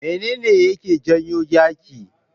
Mene ne yake janyo yaƙi?